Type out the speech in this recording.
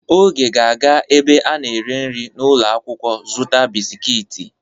Oge ga-aga ebe a na-eri nri n'ulo akwukwo zuta bisikiiti.